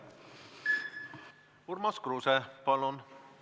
Urmas Kruuse, palun!